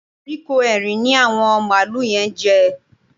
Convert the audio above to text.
Kóríkó Erin ni àwọn màlúù yẹn ń jẹ